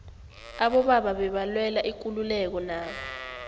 abobaba bebalwela ikululeko nabo